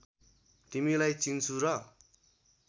तिमीलाई चिन्छु र